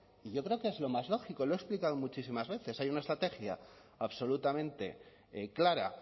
y yo creo que es lo más lógico lo he explicado muchísimas veces hay una estrategia absolutamente clara